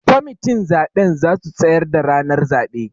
Kwamitin zaben zasu tsayar da ranar zaɓe